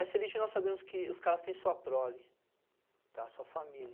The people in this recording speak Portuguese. Essa elite nós sabemos que os caras têm sua prole, tá, sua família.